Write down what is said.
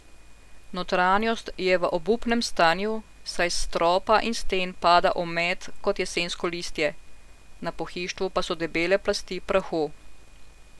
Notranjost je v obupnem stanju, saj s stropa in sten pada omet kot jesensko listje, na pohištvu pa so debele plasti prahu.